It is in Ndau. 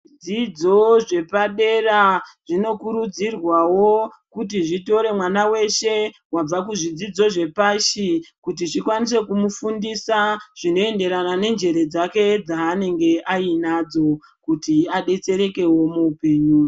Zvidzidzo zvepadera zvinokurudzirwawo kuti zvitore mwana weshe wabva kuzvidzidzo zvepashi kuti zvikwanise kumufundisa zvinoenderana nenjere dzaanenge ainadzo kuti adetsereke muupenyu.